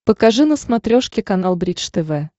покажи на смотрешке канал бридж тв